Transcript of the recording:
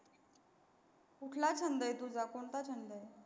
कुटला छंद आहे, तुझा कोनता छंद आहे?